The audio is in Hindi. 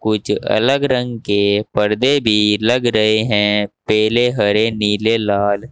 कुछ अलग रंग के पर्दे भी लग रहे हैं पिले हरे नीले लाल--